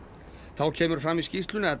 þá kemur fram í skýrslunni að